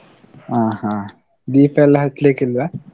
ಹ ಹ, ದೀಪ ಎಲ್ಲ ಹಚ್ಲಿಕ್ಕೆ ಇಲ್ವಾ?